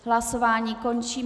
Hlasování končím.